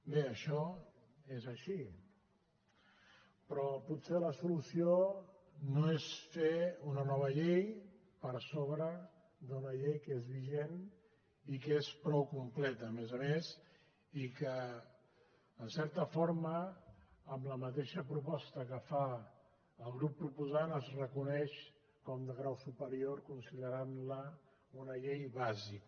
bé això és així però potser la solució no és fer una nova llei per sobre d’una llei que és vigent i que és prou completa a més a més i que en certa forma amb la mateixa proposta que fa el grup proposant es reconeix com de grau superior en considerar la una llei bàsica